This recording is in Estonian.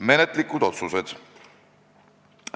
Menetluslikud otsused.